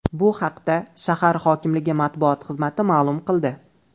Bu haqda shahar hokimligi matbuot xizmati maʼlum qildi .